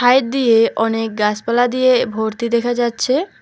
Side দিয়ে অনেক গাছপালা দিয়ে ভর্তি দেখা যাচ্ছে।